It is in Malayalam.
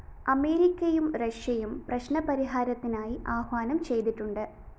അമേരിക്കയും റഷ്യയും പ്രശ്‌നപരിഹാരത്തിനായി ആഹ്വാനം ചെയ്തിട്ടുണ്ട്